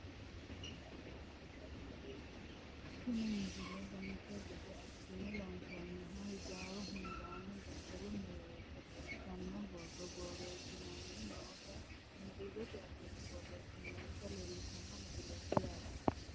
tini misike dancha gede assine loonsoonniha hijaaru hunda daddalu mereersha xawissanno borro borreessineenna noota inglizete afiinni borreessinoonnita leellishshanno misileeti yaate